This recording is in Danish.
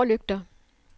forlygter